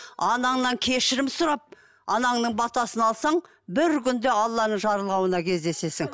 анаңнан кешірім сұрап анаңның батасын алсаң бір күнде алланың жарылғауына кездесесің